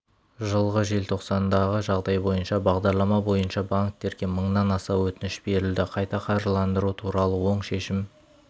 жылғы желтоқсандағы жағдай бойынша бағдарлама бойынша банктерге мыңнан аса өтініш берілді қайта қаржыландыру туралы оң шешім